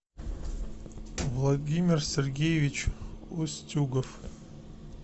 владимир сергеевич устюгов